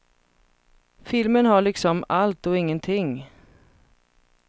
Filmen har liksom allt och ingenting.